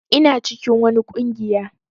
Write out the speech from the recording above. Ina cikin wani ƙungiya.